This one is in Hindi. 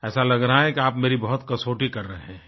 ऐसा लग रहा है कि आप मेरी बहुत कसौटी कर रहे हैं